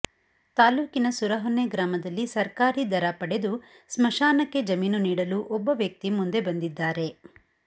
ತಾಲ್ಲೂಕಿನ ಸುರಹೊನ್ನೆ ಗ್ರಾಮದಲ್ಲಿ ಸರ್ಕಾರಿ ದರ ಪಡೆದು ಸ್ಮಶಾನಕ್ಕೆ ಜಮೀನು ನೀಡಲು ಒಬ್ಬ ವ್ಯಕ್ತಿ ಮುಂದೆ ಬಂದಿದ್ದಾರೆ